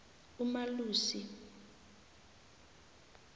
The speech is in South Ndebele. umalusi